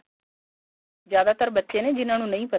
ਜਿਆਦਾਤਰ ਬੱਚੇ ਨੇ ਜਿਹਨਾ ਨੂੰ ਨਹੀਂ ਪਤਾ